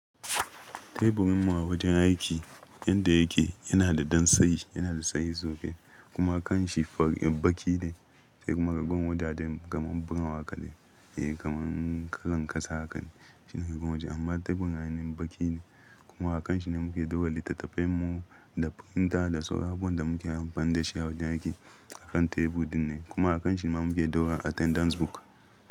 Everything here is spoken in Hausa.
Teburinmu a wajen aiki yadda yake yana da dan tsayi, yana da tsayi sosai kuma kanshi baki ne sai kuma ragon wajen kaman buran haƙa ne. Eh, kamar ƙarankasa hakan shine ragon waje amma teburin ainihin baki ne kuma a kanshi ne muke dogara littattafai mu da printer da sauransu. Abun da muke amfani da shi a wajen aiki akan tebur dinnan kuma a kanshin ma muke dogara attendance book.